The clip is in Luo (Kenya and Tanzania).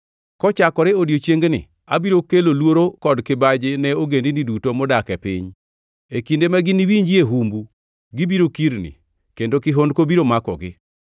Kochakore odiechiengni abiro kelo luoro kod kibaji ne ogendini duto modak e piny. E kinde ma giniwinjie humbu, gibiro kirni kendo kihondko biro makogi.”